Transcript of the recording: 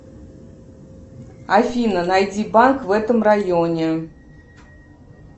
афина найди банк в этом районе